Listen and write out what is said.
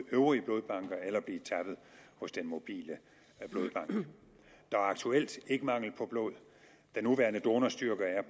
øvrige blodbanker eller at blive tappet hos den mobile blodbank der er aktuelt ikke mangel på blod den nuværende donorstyrke